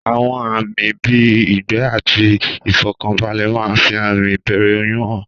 Àwọn àmì bíi ìgbẹ́ àti ìfọ̀kànbalẹ̀ máa ń fi àmì ìbẹ̀rẹ̀ oyún hàn.